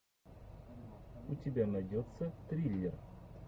у тебя найдется триллер